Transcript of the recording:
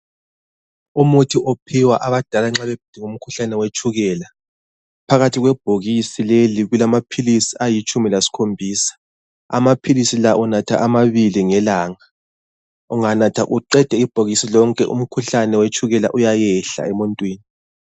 Umuthi ophiwa abadala nxa begula umkhuhlane wetshukela, phakathi kwebhokisi leli kulamaphilisi alitshumi lasikhombisa. Amaphilisi la unatha amabili ngelanga. Unganatha uqede ibhokisi lonke, umkhuhlane uyayehla emuntwini.